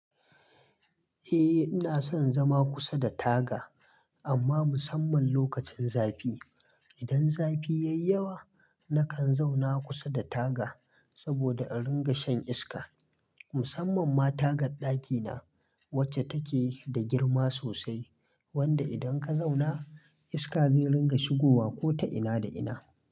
Eh, ina son zama kusa da taga amma musamman lokacin zafi. Idan zafi yayi yawa nakan zauna kusa da taga saboda in ringa shan iska. Musamman ma tagar ɗakina wacce take da girma sosai wanda idan ka zauna iska zai ringa shigowa ko ta ina da ina.